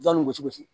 Jɔnni bɛ cogo di